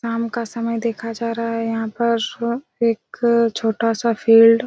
शाम का समय देखा जा रहा हैं यहाँ पर एक छोटा सा फील्ड ।